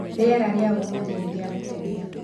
Rĩera rĩa ũmũthĩ nĩ rĩa gũkenia